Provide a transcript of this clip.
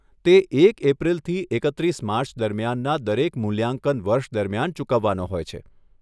તે એક એપ્રિલથી એકત્રીસ માર્ચ દરમિયાનના દરેક મૂલ્યાંકન વર્ષ દરમિયાન ચૂકવવાનો હોય છે.